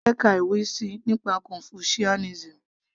mo fẹ́ ka ìwé síi nípa confucianism